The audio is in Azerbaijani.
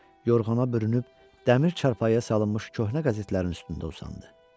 Yorğana bürünüb dəmir çarpayıya salınmış köhnə qəzetlərin üstündə usandı.